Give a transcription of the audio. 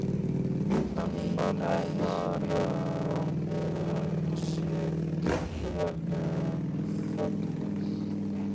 Hann fann fara um sig gríðarlegan fögnuð.